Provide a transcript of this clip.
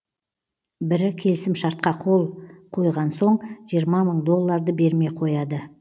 бірі келісімшартқа қол қойған соң жиырма мың долларды бермей қояды